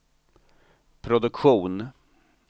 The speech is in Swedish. produktion